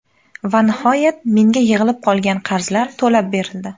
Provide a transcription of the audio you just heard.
Va nihoyat menga yig‘ilib qolgan qarzlar to‘lab berildi.